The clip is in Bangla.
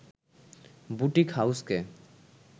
বুটিক হাউসকে